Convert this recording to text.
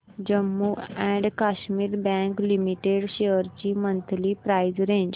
Jammu and Kashmir bank limited shares ची monthly price range